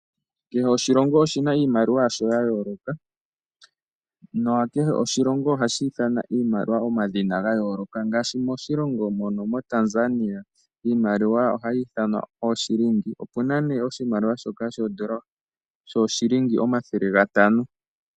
Kehe oshilongo oshina iimaliwa yasho ya yooloka, na kehe oshilongo ohashi ithana iimaliwa omadhina ga yooloka, ngashi moshilongo mo Tanzania, iimaliwa ohayi ithanwa ooshilingi. Opuna ne oshimaliwa shoka shoo shilingi omathele ga tano.